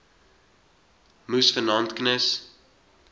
moes vanaand knus